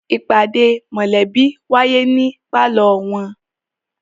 ìpàdé mọ̀lẹ́bí wáyé ní pálọ̀ wọn.